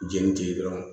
Jenini tɛ yen dɔrɔn